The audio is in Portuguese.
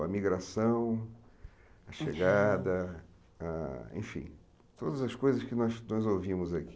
A migração, a chegada, ah enfim, todas as coisas que nós nós ouvimos aqui.